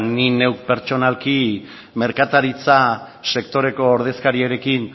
ni neuk pertsonalki merkataritza sektoreko ordezkariarekin